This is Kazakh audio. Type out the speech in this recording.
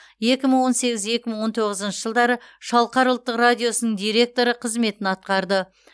екі мың он сегіз екі мың он тоғызыншы жылдары шалқар ұлттық радиосының директоры қызметін атқарды